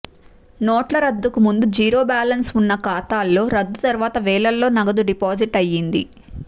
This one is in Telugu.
నోట్ల రద్దుకు ముందు జీరో బ్యాలెన్స్ ఉన్న ఖాతాల్లో రద్దు తర్వాత వేలల్లో నగదు డిపాజిట్ అయ్యింది